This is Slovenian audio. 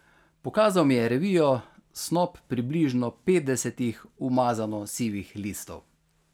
Pokazal mi je revijo, snop približno petdesetih umazano sivih listov.